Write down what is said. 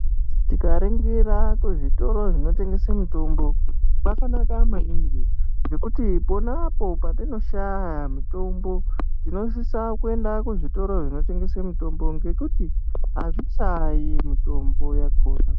Tikaringira kuzvitoro zvinotengese mitombo zvakanaka maningi nokuti pona patinoshaya mitombo tinosisa kuenda kuzvitoro zvinotengese mitombo ngokuti azvishayi mitombo yakona.